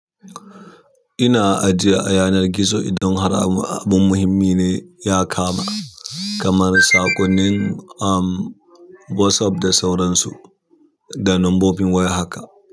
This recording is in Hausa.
Ina ajiya a yanar gizo idan har abin muhimmi ne ya kama, kamar saƙonnin, um, WhatsApp da sauransu da lambobin waya haka.